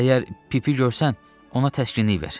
Əgər Pipi görsən, ona təskinlik ver.